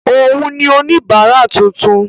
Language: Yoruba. Òun ni oníbárà tuntun.